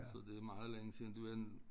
Så det meget længe siden det var en